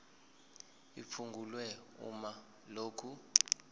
liphungulwe uma lokhu